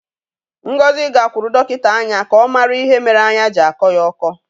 Ngozi gakwuru dọkịta anya ka ọ mara ihe mere anya ji akọ ya ọkọ.